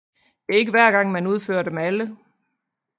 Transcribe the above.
Det er ikke hver gang man udfører dem alle